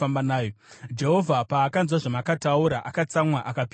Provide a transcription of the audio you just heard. Jehovha paakanzwa zvamakataura, akatsamwa akapika, achiti,